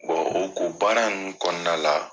Wa o ko baara nunnu kɔnɔna la